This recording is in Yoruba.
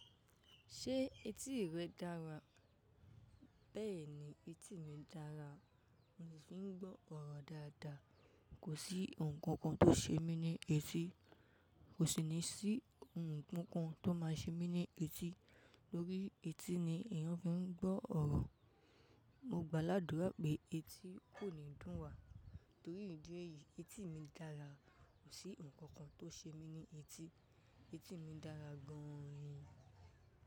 Ṣé etí rẹ dára? Bẹ́ẹ̀ni, etí mi dára. Móò fi ń gbọ́ ọ̀rọ̀ dáadáa. Kò sí ohun kànkàn tó ṣe mí ní etí. Kò sì ní sí ohun kankan tó máa ṣe mí ní etí. Lórí etí ni èèyàn fi ń gbọ́ ọ̀rọ̀. Mo gbá ládùrá pé etí kò ní dùn wá. Torí ìdí èyí etí mi dára. Kò sí ohunkóhun tó ṣe mí ní etí. Etí mi dára gan-an ni.